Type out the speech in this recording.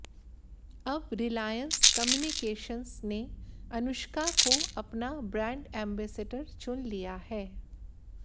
अब Reliance Communications ने अनुष्का को अपना ब्रांड एंबैसेडर चुन लिया है